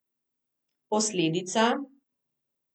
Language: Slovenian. Posledica?